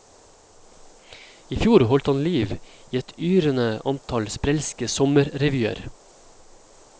I fjor holdt han liv i et yrende antall sprelske sommerrevyer.